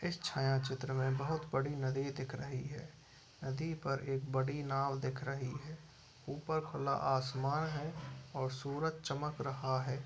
इस छाँयाचित्र में बहोत बड़ी नदी दिख रही है | नदी पर एक बड़ी नाव दिख रही है | ऊपर खुला आसमान है और सूरज चमक रहा है।